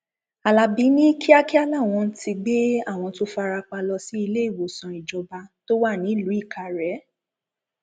alábí ní kíákíá làwọn ti gbé àwọn tó fara pa lọ sí iléìwòsàn ìjọba tó wà nílùú ìkàrẹ